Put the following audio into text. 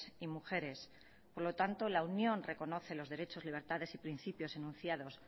y mujeres por lo tanto la unión reconoce los derechos libertades y principios enunciados